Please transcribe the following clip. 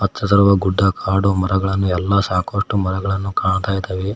ಮತ್ತು ಗುಡ್ಡ ಕಾಡು ಮರಗಳನ್ನು ಎಲ್ಲ ಸಾಕಷ್ಟು ಮರಗಳನ್ನು ಕಾಣ್ತಾ ಇದಾವೆ.